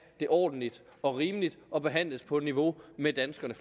det ordentligt og rimeligt og behandles på niveau med danskerne